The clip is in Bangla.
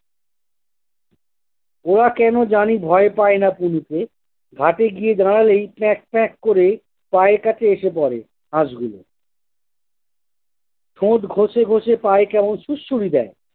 উহা কেনো জানি ভয় পায় না পুলিশে। ঘাটে গিয়ে দাঁড়ালেই প্যাঁক প্যাঁক করে পায়ের কাছে এসে পরে হাঁসগুলো। ঠোঁট ঘষে ঘষে পায়ে কেমন সুড়সুড়ি দেয়।